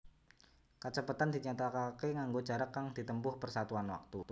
Kacepetan dinyatakaké nganggo jarak kang ditempuh per satuan wektu